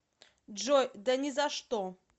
джой да ни за что